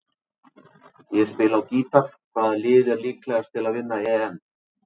Ég spila á gítar Hvaða lið er líklegast til að vinna EM?